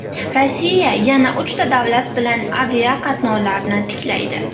Rossiya yana uchta davlat bilan aviaqatnovlarni tiklaydi.